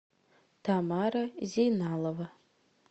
тамара зейналова